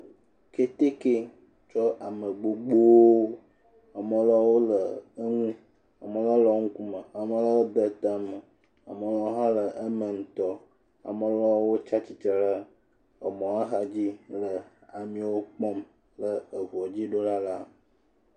kɛtɛkɛ tsɔ ame gbogbówo amɔ lewo le woŋu amɔ lewo le eŋukume amɔ lɔwo hã le eme. ŋtɔ amɔ lɔwo tsatsitre ɖe emɔ xadzi le amio kpɔ le eʋuɔ dzi ɖoɖa la